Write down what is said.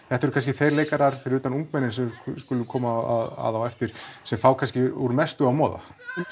þetta eru kannski þeir leikarar fyrir utan ungmennin sem við skulum koma að á eftir sem fá kannski úr mestu að moða